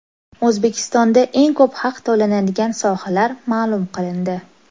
O‘zbekistonda eng ko‘p haq to‘lanadigan sohalar ma’lum qilindi.